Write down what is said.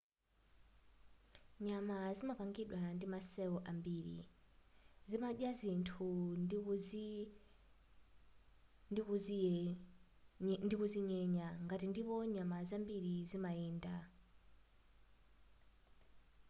nyama zimapangidwa ndima cell ambiri zimadya zinthu ndikuzinyenya nkati ndipo nyama zambiri zimayenda